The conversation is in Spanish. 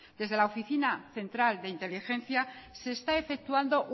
desde la oficina central de inteligencia se está efectuando